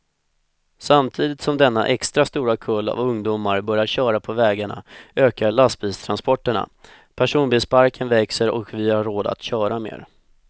Samtidigt som denna extra stora kull av ungdomar börjar köra på vägarna ökar lastbilstransporterna, personbilsparken växer och vi har råd att köra mer.